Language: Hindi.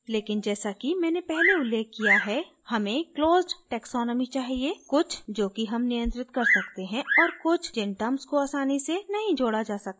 लेकिन जैसा कि मैंने पहले उल्लेख किया है हमें closed taxonomy चाहिए कुछ जो कि हम नियंत्रित कर सकते हैं और कुछ जिन terms को आसानी से नहीं जोडा जा सकता है